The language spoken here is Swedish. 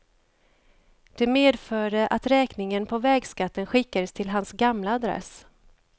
Det medförde att räkningen på vägskatten skickades till hans gamla adress.